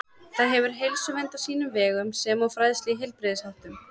Það hefur heilsuvernd á sínum vegum sem og fræðslu í heilbrigðisháttum.